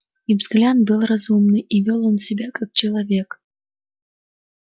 и взгляд был разумный и вёл он себя как человек